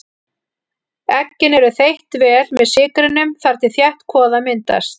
Eggin eru þeytt vel með sykrinum þar til þétt kvoða myndast.